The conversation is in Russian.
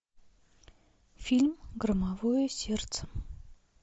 фильм громовое сердце